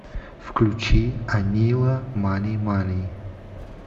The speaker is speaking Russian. включи анила мани мани